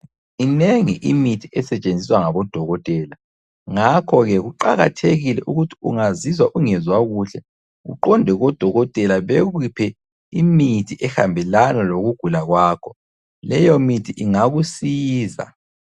Minengi imithi esetshenziswa ngabodokotela. Ngakho-ke kuqakathekile ukuthi ungazizwa ungezwa kuhle uqonde kodokotela bekuphe imithi ehambelana lokugula kwakho. Leyo mithi ingakusiza.